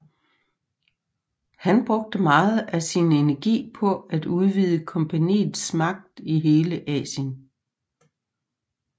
Han brugte meget af sin energi på at udvide kompagniets magt i hele Asien